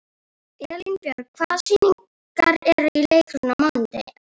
Elínbjörg, hvaða sýningar eru í leikhúsinu á mánudaginn?